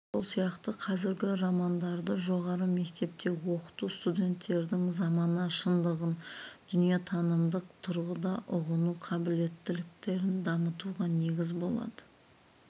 сол сияқты қазіргі романдарды жоғары мектепте оқыту студенттердің замана шындығын дүниетанымдық тұрғыда ұғыну қабілеттіліктерін дамытуға негіз болады